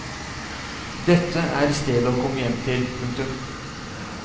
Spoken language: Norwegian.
Dette er stedet å komme hjem til. punktum